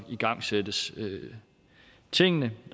igangsættes tingene